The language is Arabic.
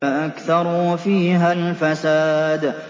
فَأَكْثَرُوا فِيهَا الْفَسَادَ